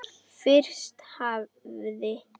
Fyrst hafði